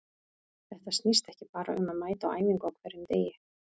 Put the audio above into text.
Þetta snýst ekki bara um að mæta á æfingu á hverjum degi.